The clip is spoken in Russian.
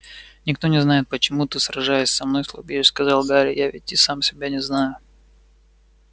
никто не знает почему ты сражаясь со мной слабеешь сказал гарри я ведь и сам себя не знаю